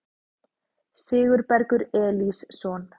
Sigurbergur Elísson